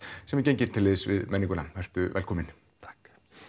sem er genginn til liðs við menninguna vertu velkominn takk